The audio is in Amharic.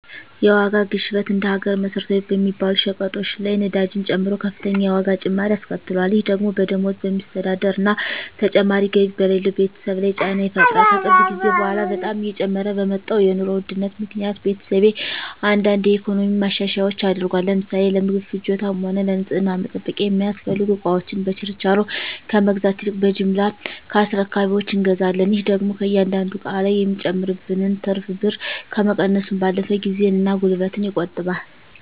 የዋጋ ግሽበት እንደ ሀገር መሰረታዊ በሚባሉ ሸቀጦች ላይ ነዳጅን ጨምሮ ከፍተኛ የዋጋ ጭማሪ አስከትሏል። ይህ ደግሞ በደሞዝ በሚስተዳደር እና ተጨማሪ ገቢ በሌለው ቤተሰብ ላይ ጫና ይፈጥራል። ከቅርብ ጊዜ በኃላ በጣም እየጨመረ በመጣው የኑሮ ውድነት ምክኒያት ቤተሰቤ አንዳንድ የኢኮኖሚ ማሻሻያዎች አድርጓል። ለምሳሌ ለምግብ ፍጆታም ሆነ ለንፅህና መጠበቂያ የሚያስፈልጉ እቃወችን በችርቻሮ ከመግዛት ይልቅ በጅምላ ከአስረካቢወች እንገዛለን። ይህ ደግሞ ከእያንዳንዱ እቃ ላይ የሚጨመርብንን ትርፍ ብር ከመቀነሱም ባለፈ ጊዜን እና ጉልበትን ይቆጥባል።